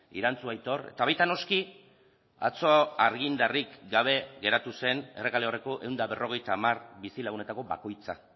irantzu aitor eta baita noski atzo argindarrik gabe geratu zen errekaleorreko ehun eta berrogeita hamar bizilagunetako bakoitza